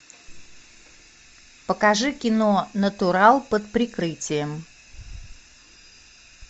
покажи кино натурал под прикрытием